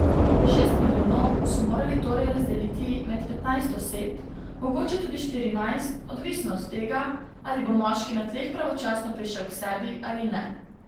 Šest milijonov so morali torej razdeliti med petnajst oseb, mogoče tudi štirinajst, odvisno od tega, ali bo moški na tleh pravočasno prišel k sebi ali ne.